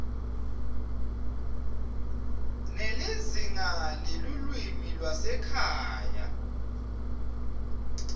nelizingaa lelulwimi lwasekhaya